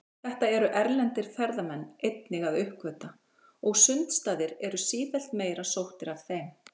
Þetta eru erlendir ferðamenn einnig að uppgötva, og sundstaðir eru sífellt meira sóttir af þeim.